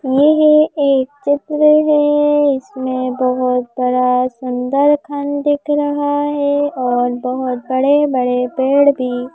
येह एक चित्र हैं इसमें बहोत बड़ा सुंदर खन दिख रहा है और बहोत बड़े-बड़े पेड़ भी --